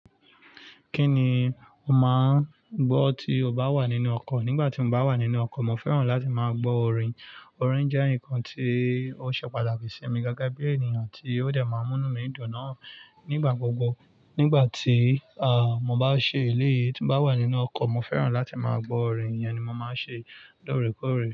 Kí ni o máà ń gbọ́ tí o bá wà nínú ọkọ̀? Nígbà tí mo bá wà nínú ọkọ̀, mo fẹ́ràn láti máa gbọ́ orin. Orin jẹ́ nǹkan tí ó ṣe pàtàkì sí mi gege bí ènìyàn tí ó dẹ̀ máa ń mú nu mi dùn náà nígbà gbogbo. Nígbà tí, à, mo bá ń ṣe eléyi, tí mo bá wà nínú ọkọ̀, mo fẹ́ràn láti máa gbọ́ orin, ìyen ni mo máa ń ṣe lóòrèkóòrè.